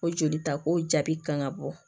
O joli ta ko jaabi kan ga bɔ